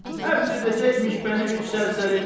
Həbs edəcəkmiş məni üç sərsəri.